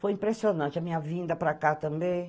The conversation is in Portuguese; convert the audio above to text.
Foi impressionante a minha vinda para cá também.